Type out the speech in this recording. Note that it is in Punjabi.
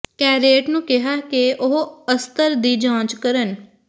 ਕੈਰੇਟ ਨੂੰ ਕਿਹਾ ਕਿ ਉਹ ਅਸਤਰ ਦੀ ਜਾਂਚ ਕਰਨ